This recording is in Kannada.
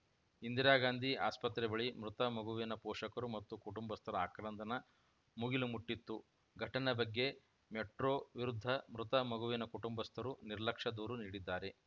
ಇಂದಿರಾಗಾಂಧಿ ಆಸ್ಪತ್ರೆ ಬಳಿ ಮೃತ ಮಗುವಿನ ಪೋಷಕರು ಮತ್ತು ಕುಟುಂಬಸ್ಥರ ಆಕ್ರಂದನ ಮುಗಿಲು ಮುಟ್ಟಿತ್ತು ಘಟನೆ ಬಗ್ಗೆ ಮೆಟ್ರೋ ವಿರುದ್ಧ ಮೃತ ಮಗುವಿನ ಕುಟುಂಬಸ್ಥರು ನಿರ್ಲಕ್ಷ್ಯ ದೂರು ನೀಡಿದ್ದಾರೆ